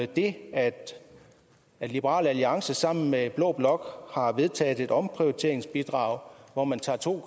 det at liberal alliance sammen med blå blok har vedtaget et omprioriteringsbidrag hvor man tager to